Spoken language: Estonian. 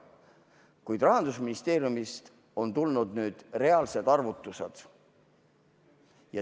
Kuid Rahandusministeeriumist on tulnud nüüd reaalsed arvutused.